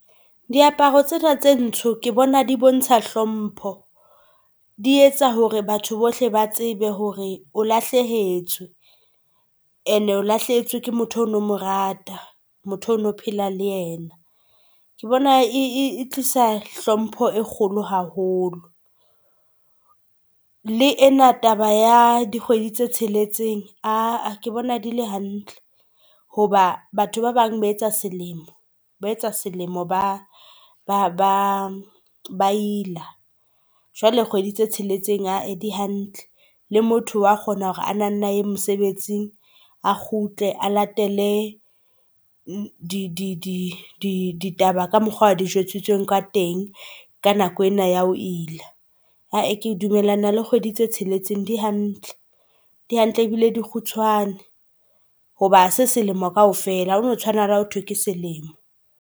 Diaparo tsena tse ntsho ke bona di bontsha hlompho, di etsa hore batho bohle ba tsebe hore o lahlehetswe and o lahlehetswe ke motho ono omo rata. Motho ono phela le yena. Ke bona e tlisa hlompho e kgolo haholo le ena taba ya dikgwedi tse tsheletseng aa ke bona di le hantle hoba batho ba bang ba etsa selemo ba etsa selemo, ba ila jwale kgwedi tse tsheletseng haa di hantle. Le motho wa kgona hore ana nna aye mosebetsing a kgutle a latele di ditaba ka mokgwa a di jwetsitseng ka teng ka nako ena ya ho ila. Aa ke dumellana le kgwedi tse tsheletseng di hantle hantle ebile di kgutshwane hoba se selemo kaofela ha ono tshwana le ha ho thwe ke selemo.